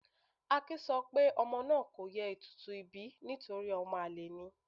Akin sọ pé ọmọ náà kò ye ètùtù ìbí náà nítorí ọmọ àlè ni.